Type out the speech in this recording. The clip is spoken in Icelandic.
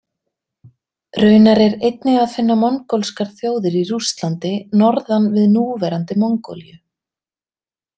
Raunar er einnig að finna mongólskar þjóðir í Rússlandi norðan við núverandi Mongólíu.